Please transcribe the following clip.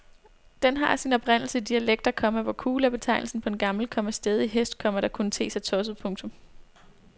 Den har sin oprindelse i dialekter, komma hvor kule er betegnelsen på en gammel, komma stædig hest, komma der kunne te sig tosset. punktum